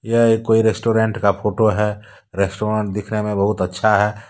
यह एक कोई रेस्टोरेंट का फोटो है रेस्टोरेंट दिखने में बहुत अच्छा है।